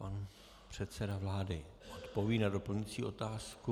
Pan předseda vlády odpoví na doplňující otázku.